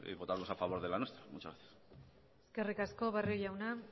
votaremos a favor de la nuestra muchas gracias eskerrik asko barrio jauna